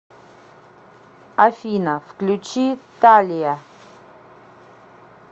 афина включи талия